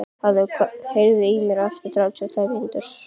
Hafþóra, heyrðu í mér eftir þrjátíu og tvær mínútur.